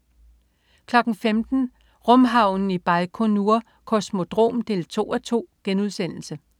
15.00 Rumhavnen i Bajkonur Kosmodrom 2:2*